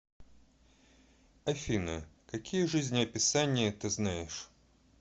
афина какие жизнеописание ты знаешь